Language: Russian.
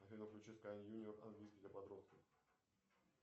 афина включи скай юниор английский для подростков